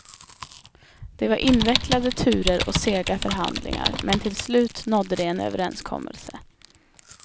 Det var invecklade turer och sega förhandlingar, men till slut nådde de en överenskommelse.